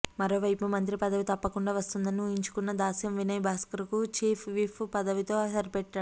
మరోవైపు మంత్రి పదవి తప్పకుండా వస్తుందని ఊహించుకున్న దాస్యం వినయ్ భాస్కర్ కు చీఫ్ విప్ పదవితో సరిపెట్టారు